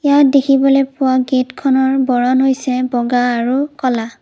ইয়াত দেখিবলৈ পোৱা গেটখনৰ বৰণ হৈছে বগা আৰু ক'লা।